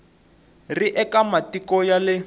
ri eka matiko ya le